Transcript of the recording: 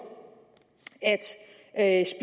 at